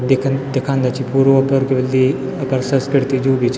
दीखन दिखान्दा छि पूरो अपर क्य बुल्दी अपर संस्किर्ति जू भी छ।